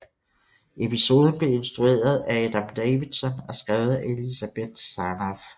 Episoden blev instrueret af Adam Davidson og skrevet af Elizabeth Sarnoff